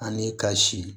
Ani kasi